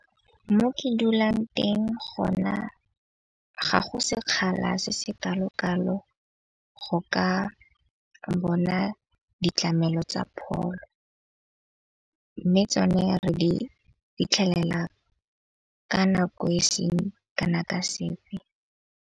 Mo ke dulang teng go na ga go sekgala se se kalo kalo go ka bona ditlamelo tsa pholo. Mme tsone re di fitlhelela ka nako e seng kana ka sepe.